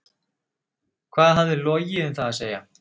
Hvað hafði Logi um það að segja?